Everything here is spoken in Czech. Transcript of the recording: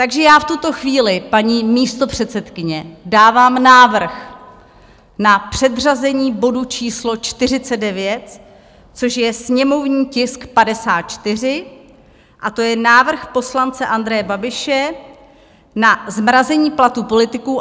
Takže já v tuto chvíli, paní místopředsedkyně, dávám návrh na předřazení bodu číslo 49, což je sněmovní tisk 54, a to je návrh poslance Andreje Babiše na zmrazení platů politiků.